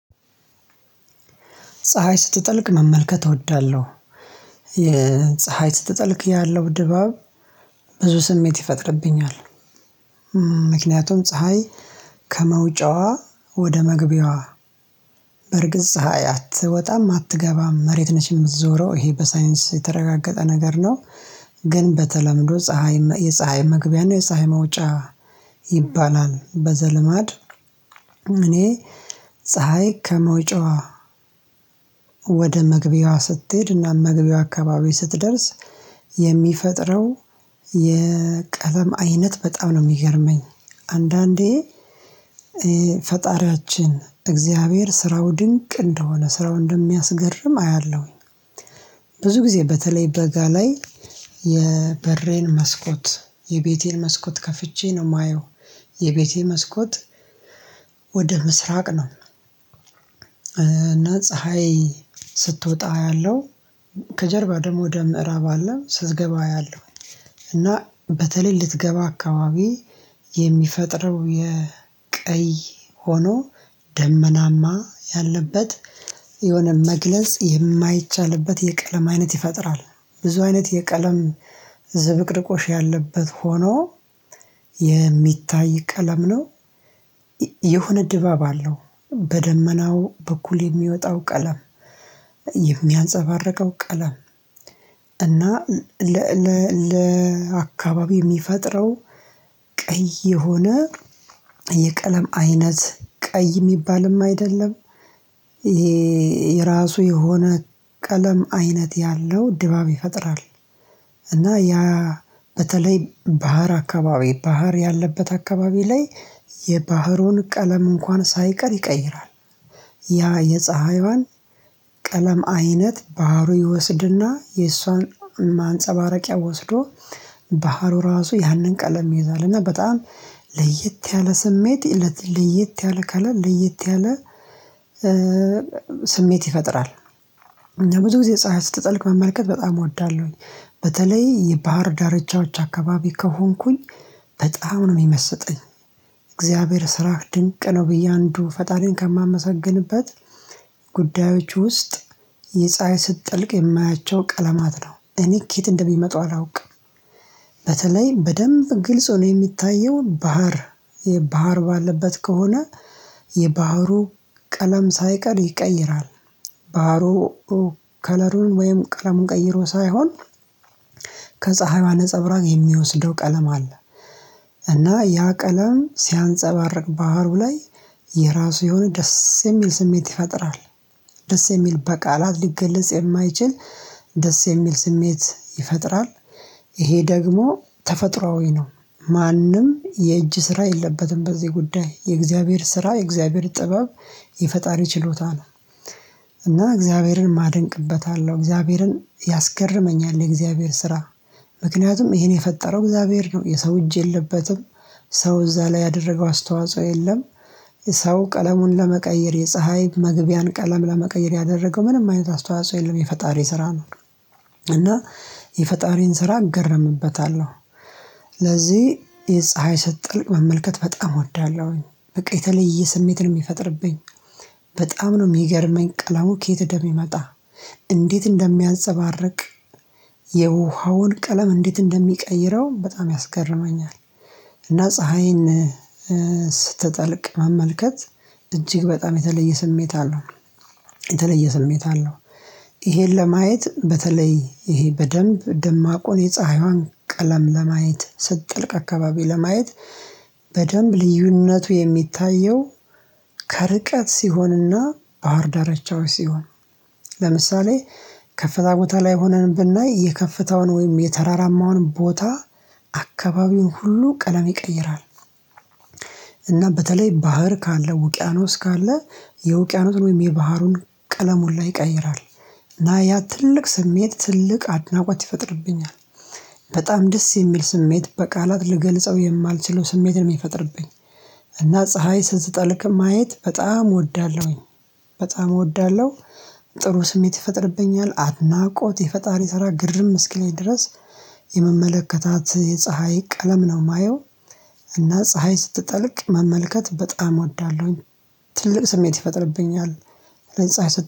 ፀሀይ ስትጠልቅ መመልከት እወዳለሁ። የፀሀይ ስትጠልቅ ያለው ድባብ ብዙ ስሜት ይፈጥርብኛል። ምክንያቱም ፀሀይ ከመውጫዋ ወደ መግቢያዋ በርግጥ ፀሀይ አትወጣም አትገባም መሬት ነች የምትዞረው ይሄ በሳይንስ የተረጋገጠ ነገር ነው። ግን በተለምዶ ፀሀይ የፀሀይ መግቢያ ነው የፀሀይ መውጫ ይባላል። በዘልማድ እኔ ፀሀይ ከመውጫዋ ወደ መግቢያዋ ስትሄድና መግቢያዋ አካባቢ ስትደርስ የሚፈጥረው የቀለም አይነት በጣም ነው የሚገርመኝ። አንዳንዴ ፈጣሪያችን እግዚአብሔር ስራው ድንቅ እንደሆነ ስራው እንደሚያስገርም አያለሁኝ። ብዙ ጊዜ በተለይ በጋ ላይ የበሬን መስኮት የቤቴን መስኮት ከፍቼ ነው የማየው። የቤቴ መስኮት ወደ ምሥራቅ ነው። እና ፀሀይ ስትወጣ አያለሁ ከጀርባ ደግሞ ወደ ምዕራብ አለ ስትገባ አያለሁ። እና በተለይ ልትገባ አካባቢ የሚፈጥረው የቀይ ሆኖ ደመናማ ያለበት የሆነ መግለጽ የማይቻልበት የቀለም አይነት ይፈጥራል። ብዙ አይነት የቀለም ዝብርቅርቆሽ ያለበት ሆኖ የሚታይ ቀለም ነው። የሆነ ድባብ አለው። በደመናው በኩል የሚወጣው ቀለም የሚያንፀባርቀው ቀለም እና ለ ለ ለአካባቢው የሚፈጥረው ቀይ የሆነ የቀለም አይነት ቀይ የሚባልም አይደለም። ይሄ የራሱ የሆነ ቀለም አይነት ያለው ድባብ ይፈጥራል። እና ያ በተለይ ባህር አካባቢ ባህር ያለበት አካባቢ ላይ የባህሩን ቀለም እንኳን ሳይቀር ይቀይራል። ያ የፀሀይዋን ቀለም አይነት ባህሩ ይወስድና የእሷን ማንፀባረቂያ ወስዶ ባህሩ ራሱ ያንን ቀለም ይይዛል። እና በጣም ለየት ያለ ስሜት ለየት ያለ ከለር ለየት ያለ ስሜት ይፈጥራል። ብዙ ጊዜ ፀሀይ ስትጠልቅ መመልከት በጣም እወዳለሁኝ። በተለይ የባህር ዳርቻዎች አካባቢ ከሆንኩኝ በጣም ነው የሚመስጠኝ። እግዚአብሔር ሥራህ ድንቅ ነው ብዬ አንዱ ፈጣሪን ከማመሰግንበት ጉዳዮች ውስጥ የፀሀይ ስትጠልቅ የማያቸው ቀለማት ነው። እኔ ከየት እንደሚመጡ አላውቅም። በተለይ በደንብ ግልጽ ሆኖ የሚታየው ባህር የባህር ባለበት ከሆነ የባህሩ ቀለም ሳይቀር ይቀይራል። ባህሩ ከለሩን ወይም ቀለሙን ቀይሮ ሳይሆን ከፀሀይዋ ነፀብራቅ የሚወስደው ቀለም አለ። እና ያ ቀለም ሲያንፀባርቅ ባህሩ ላይ የራሱ የሆነ ደስ የሚል ስሜት ይፈጥራል። ደስ የሚል በቃላት ሊገለጽ የማይችል ደስ የሚል ስሜት ይፈጥራል። ይሄ ደግሞ ተፈጥሮአዊ ነው። ማንም የእጅ ስራ የለበትም በዚህ ጉዳይ የእግዚአብሔር ስራ የእግዚአብሔር ጥበብ የፈጣሪ ችሎታ ነው። እና እግዚአብሔርንም አደንቅበታለሁ እግዚአብሔርን ያስገርመኛል የእግዚአብሔር ስራ። ምክንያቱም ይሄን የፈጠረው እግዚአብሔር ነው የሰው እጅ የለበትም። ሰው እዛ ላይ ያደረገው አስተዋጽኦ የለም። ሰው ቀለሙን ለመቀየር የፀሀይ መግቢያን ቀለም ለመቀየር ያደረገው ምንም አይነት አስተዋጽኦ የለም የፈጣሪ ስራ ነው። እና የፈጣሪን ስራ እገረምበታለሁ። ለዚህ የፀሀይ ስትጠልቅ መመልከት በጣም እወዳለሁኝ በቃ የተለየ ስሜት ነው የሚፈጥርብኝ። በጣም ነው የሚገርመኝ ቀለሙ ከየት እንደሚመጣ እንዴት እንደሚያንፀባርቅ የውሃውን ቀለም እንዴት እንደሚቀይረው በጣም ያስገርመኛል። እና ፀሀይን ስትጠልቅ መመልከት እጅግ በጣም የተለየ ስሜት አለው። የተለየ ስሜት አለው። ይሄን ለማየት በተለይ ይሄ በደንብ ደማቁን የፀሀይዋን ቀለም ለማየት ስትጥልቅ አካባቢ ለማየት። በደንብ ልዩነቱ የሚታየው ከርቀት ሲሆንና ባህርዳርቻዎች ሲሆን። ለምሳሌ ከፍታ ቦታ ላይ ሆነን ብናይ የከፍታውን ወይም የተራራማውን ቦታ አካባቢውን ሁሉ ቀለም ይቀይራል። እና በተለይ ባህር ካለ ውቅያኖስ ካለ የውቅያኖስን ወይም የባህሩን ቀለም ሁላ ይቀይራል። እና ያ ትልቅ ስሜት ትልቅ አድናቆት ይፈጥርብኛል። በጣም ደስ የሚል ስሜት በቃላት ልገልጸው የማልችለው ስሜት ነው የሚፈጥርብኝ። እና ፀሀይ ስትጠልቅ ማየት በጣም እወዳለሁኝ። በጣም እወዳለሁ። ጥሩ ስሜት ይፈጥርብኛል አድናቆት የፈጣሪ ስራ ግርም እስኪለኝ ድረስ የምመለከታት የፀሀይ ቀለም ነው የማየው። እና ፀሀይ ስትጠልቅ መመልከት በጣም እወዳለሁኝ። ትልቅ ስሜት ይፈጥርብኛል። ለፀሀይ